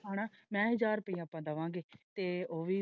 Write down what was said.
ਹੇਨਾ ਮੈ ਹਾਜ਼ਰ ਰੁਪਈਆ ਆਪਾ ਦਵਾਂਗੇ ਤੇ ਉਹ ਵੀ।